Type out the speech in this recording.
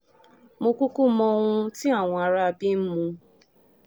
mo kúkú mọ ohun tí àwọn aráabí ń mu